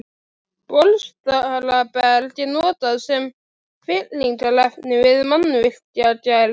Bólstraberg er notað sem fyllingarefni við mannvirkjagerð.